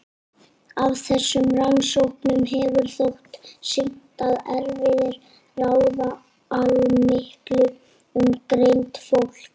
Af þessum rannsóknum hefur þótt sýnt að erfðir ráða allmiklu um greind fólks.